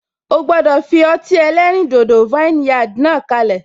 O gbọdọ fi ọtí ẹlẹ́rìn dodo vineyard náà kalẹ.